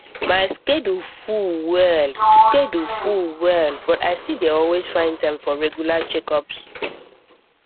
my schedule full well schedule full well but i still dey always find time for regular checkups